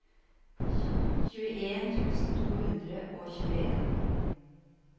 tjueen tusen to hundre og tjueen